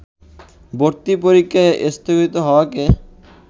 ভর্তি পরীক্ষা স্থগিত হওয়াকে